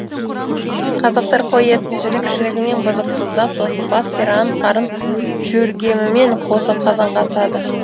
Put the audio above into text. қазақтар қой етін жілік жілігімен бұзып тұздап сосын бас сирағын қарын жөргемімен қосып қазанға асады